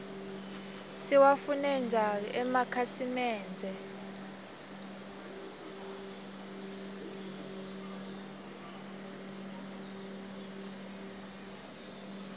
siwafune njau emakitnsimende